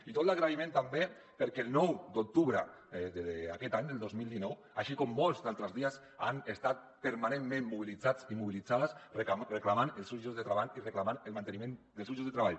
i tot l’agraïment també perquè el nou d’octubre d’aquest any el dos mil dinou així com molts altres dies han estat permanentment mobilitzats i mobilitzades reclamant els seus llocs de treball i reclamant el manteniment dels seus llocs de treball